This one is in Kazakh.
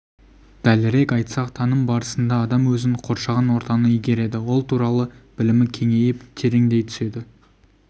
дәлірек айтсақ таным барысында адам өзін қоршаған ортаны игереді ол туралы білімі кеңейіп тереңдей түседі